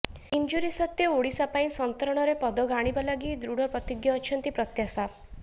injury ସତ୍ତ୍ବେ ଓଡିଶା ପାଇଁ ସନ୍ତରଣରେ ପଦକ ଆଣିବା ଲାଗି ଦୃଢ ପ୍ରତିଜ୍ଞ ଅଛନ୍ତି ପ୍ରତ୍ୟାଶା